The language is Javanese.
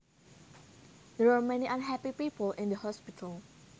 There are many unhappy people in the hospital